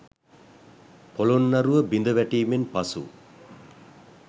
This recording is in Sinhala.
පොළොන්නරුව බිඳ වැටීමෙන් පසු